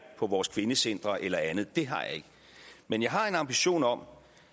på vores kvindecentre eller andet det har jeg ikke men jeg har en ambition om